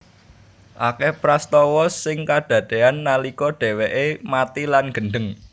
Akeh prastawa sing kadadean nalika dheweke mati lan gendheng